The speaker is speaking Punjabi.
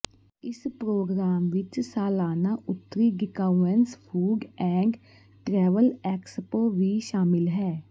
ਇਸ ਪ੍ਰੋਗਰਾਮ ਵਿਚ ਸਾਲਾਨਾ ਉੱਤਰੀ ਡੀਕਾਉਂੈਂਸ ਫੂਡ ਐਂਡ ਟ੍ਰੈਵਲ ਐਕਸਪੋ ਵੀ ਸ਼ਾਮਿਲ ਹੈ